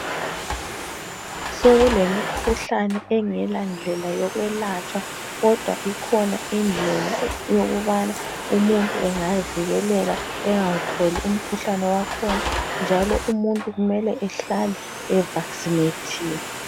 Sokulemikhuhlane engela ndlela yokwelatshwa kodwa ikhona indlela yokubana umuntu engavikeleka engawutholi umkhuhlani wakhona njalo umuntu kumele ehlale evaksinethiwe.